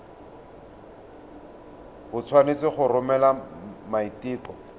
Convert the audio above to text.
o tshwanetse go romela maiteko